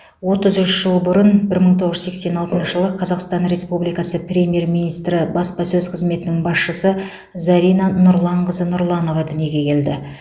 отыз үш жыл бұрын бір мың тоғыз жүз сексен алтыншы жылы қазақстан республикасы премьер министрі баспасөз қызметінің басшысы зарина нұрланқызы нұрланова дүниеге келді